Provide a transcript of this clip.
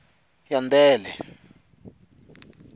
yandele